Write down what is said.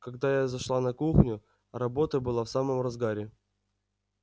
когда я зашла на кухню работа была в самом разгаре